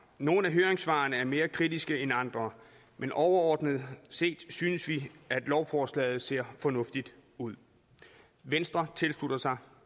nogle af høringssvarene er mere kritiske end andre men overordnet set synes vi at lovforslaget ser fornuftigt ud venstre tilslutter sig